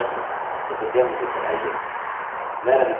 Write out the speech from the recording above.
यदि आपके पास कोई प्रश्न है तो कृपया मुझे बताइए